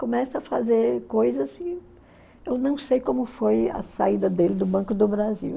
Começa a fazer coisas e eu não sei como foi a saída dele do Banco do Brasil.